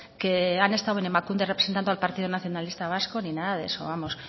que han estado en emakunde representando al partido nacionalista vasco ni nada de eso vamos